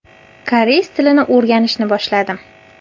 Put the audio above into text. Koreys tilini o‘rganishni boshladim.